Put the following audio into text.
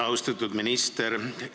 Austatud minister!